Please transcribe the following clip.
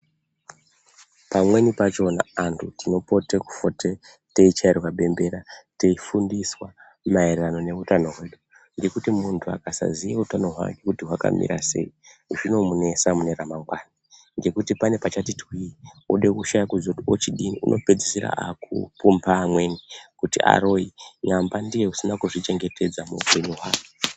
Pamweni pachona antu kupote kufote teichairwe bembera teifundiswa maererano neutano hwedu ngekuti munhu akasaziye utano hwake kuti hwakamira sei zvinotinesa mune mune ramangwana ngekuti oane pachati twii ode kushaye kuziye kuti ochodii ode kupumpa amweni kuti avaroyi nyamba ndiye usina kuzvichengetedza muupenyu hwake.